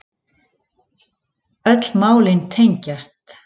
Öll málin tengjast